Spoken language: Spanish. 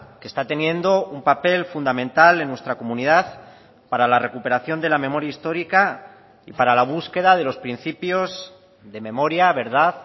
que está teniendo un papel fundamental en nuestra comunidad para la recuperación de la memoria histórica y para la búsqueda de los principios de memoria verdad